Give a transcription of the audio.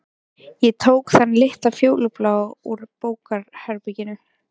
Ég tók þann litla fjólubláa úr bókaherberginu.